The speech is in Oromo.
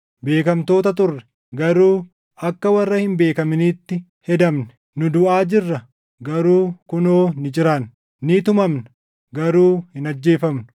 beekamtoota turre; garuu akka warra hin beekaminiitti hedamne; nu duʼaa jirra; garuu kunoo ni jiraanna; ni tumamna; garuu hin ajjeefamnu;